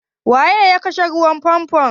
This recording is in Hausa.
Wanene ya kashe ruwan famfo?